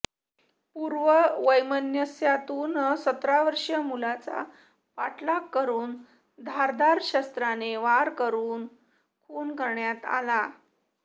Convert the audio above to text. पूर्ववैमनस्यातून सतरावर्षीय मुलाचा पाठलाग करून धारदार शस्त्राने वार करून खून करण्यात आला